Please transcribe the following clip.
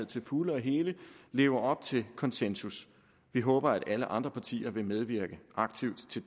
til fulde og helt lever op til konsensus vi håber at alle andre partier vil medvirke aktivt til